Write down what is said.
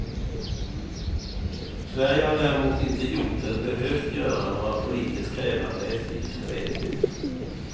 Sverige har däremot inte gjort eller behövt göra några politiskt krävande eftergifter ännu.